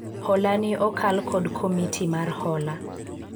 hola ni okal kod komiti mar hola